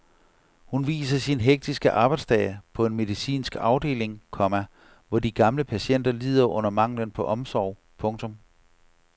Hun viser sin hektiske arbejdsdag på en medicinsk afdeling, komma hvor de gamle patienter lider under manglen på omsorg. punktum